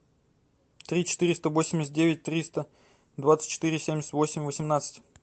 три четыреста восемьдесят девять триста двадцать четыре семьдесят восемь восемнадцать